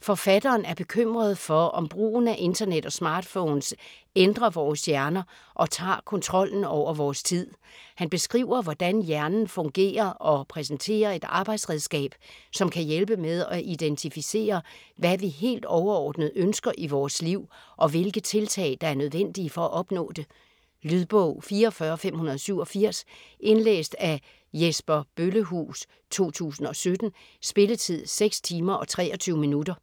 Forfatteren er bekymret for om brugen af internet og smartphones ændrer vores hjerner og tager kontrollen over vores tid. Han beskriver hvordan hjernen fungerer og præsenterer et arbejdsredskab, som kan hjælpe med at identificere, hvad vi helt overordnet ønsker i vores liv og hvilke tiltag der er nødvendige for at opnå det. Lydbog 44587 Indlæst af Jesper Bøllehuus, 2017. Spilletid: 6 timer, 23 minutter.